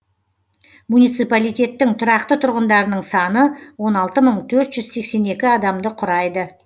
муниципалитеттің тұрақты тұрғындарының саны он алты мың төрт жүз сексен екі адамды құрайды